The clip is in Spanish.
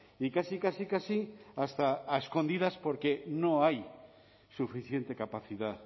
y casi casi casi hasta a escondidas porque no hay suficiente capacidad